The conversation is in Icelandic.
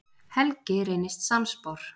Helgi reynist sannspár.